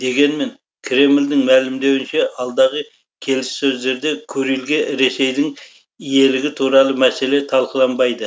дегенмен кремльдің мәлімдеуінше алдағы келіссөздерде курильге ресейдің иелігі туралы мәселе талқыланбайды